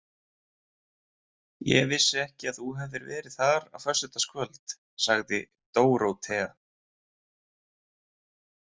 Ég vissi ekki að þú hefðir verið þar á föstudagskvöld, sagði Dórótea.